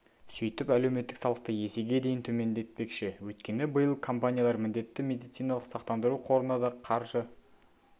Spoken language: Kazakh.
сөйтіп әлеуметтік салықты есеге дейін төмендетпекші өйткені биыл компаниялар міндетті медициналық сақтандыру қорына да қаржы